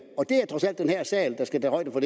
og